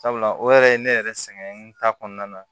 Sabula o yɛrɛ ye ne yɛrɛ sɛgɛn ta kɔnɔna na